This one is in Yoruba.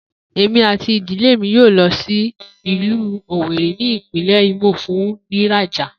Emi ati idile mi yoo lo si ilu Owerri ni ipinle Imo fun riraja.